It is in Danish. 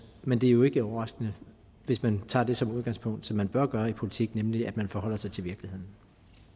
men det er jo ikke overraskende hvis man tager det som udgangspunkt som man bør gøre i politik nemlig at man forholder sig til virkeligheden